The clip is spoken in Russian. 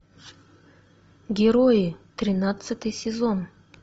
герои тринадцатый сезон